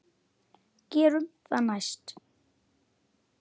Gerum það næst.